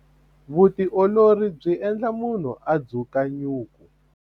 Vutiolori byi endla munhu a dzuka nyuku.